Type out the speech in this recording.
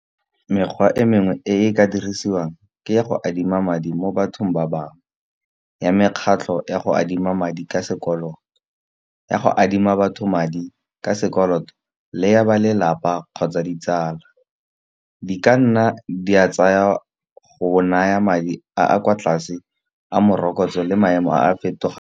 Mekgwa e mengwe e e ka dirisiwang ke ya go adima madi mo bathong ba bangwe. Ya mekgatlho ya go adima madi ka sekoloto, ya go adima batho madi ka sekoloto, le ya ba lelapa kgotsa ditsala. Di ka nna di a tsaya go naya madi a a kwa tlase a morokotso le maemo a .